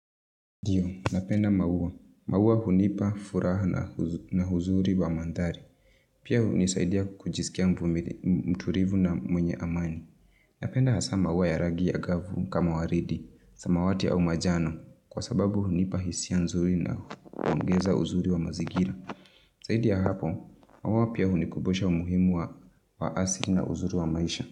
Ndio, napenda maua. Maua hunipa furaha na uzuri wa mandhari. Pia hunisaidia kujisikia mtulivu na mwenye amani. Napenda hasa maua ya rangi ya gavu kama waridi, samawati au manjano, kwa sababu hunipa hisia nzuri na huongeza uzuri wa mazingira. Zaidi ya hapo, maua pia hunikumbusha umuhimu wa asili na uzuri wa maisha.